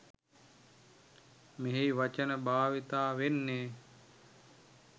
මෙහි වචන භාවිතා වෙන්නේ.